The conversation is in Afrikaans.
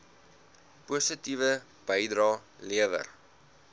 positiewe bydrae lewer